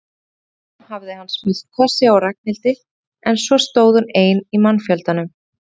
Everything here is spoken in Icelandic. Í kuldanum hafði hann smellt kossi á Ragnhildi en svo stóð hún ein í mannfjöldanum.